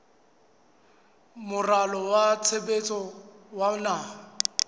moralo wa tshebetso wa naha